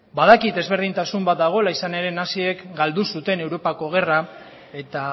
badakit desberdintasun bat dagoela izan ere naziek galdu zuten europako gerra eta